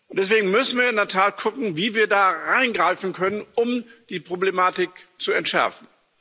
Deswegen müssen wir in der Tat gucken, wie wir da eingreifen können, um die Problematik zu entschärfen.